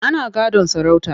Ana gadon sarauta.